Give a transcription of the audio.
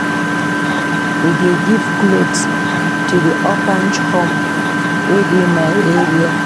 We dey give cloths to di orphage home wey dey my area.